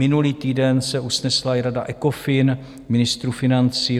Minulý týden se usnesla i rada ECOFIN ministrů financí.